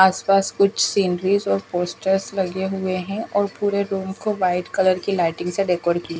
आसपास कुछ सीनरी और पोस्टर्स लगे हुए हैं और पूरे रूम को व्हाइट कलर की लाइटिंग से डेकोर किया--